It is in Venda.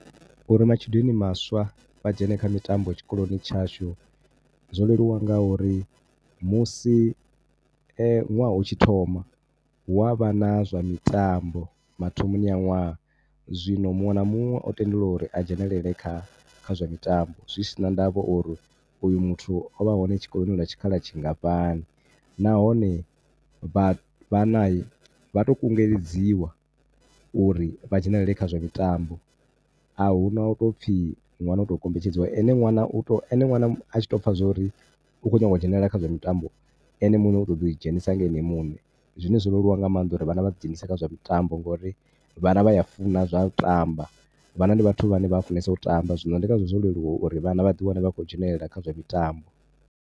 U ri matshudeni maswa vha dzhene kha mitambo tshikoloni tshashu zwo leluwa ngauri musi ṅwaha u tshi thoma hu a vha na zwa mitambo mathomoni a ṅwaha. Zwino muṅwe na muṅwe o tendelwa uri a dzhenele kha, kha zwa mitambo. Zwi si na ndavha uri uyu muthu o vha hone tshikoloni lwa tshikhala tshi nga fhani nahone vha, vhanahi vha tou kunguledziwa uri vha dzhenelele kha zwa mitambo a hu na u tou pfhi ṅwana u tou kombetshedziwa. Ene ṅwana u tou, ene ṅwana a tshi tou pfha zwa uri u khou nyanga u dzhenelela kha zwa mutambo, ene muṋe u tou ḓi dzhenisa nga ene muṋe. Zwine zwo leluwa nga maanḓa uri vhana vha ḓi dzhenise kha mitambo ngori vhana vha a funa zwa u tamba, vhana ndi vhathu vhane vha funesa u tamba. Zwino ndi ngazwo zwo leluwa uri vhana vha ḓi wane vha tshi khou dzhenelela kha zwa mitambo.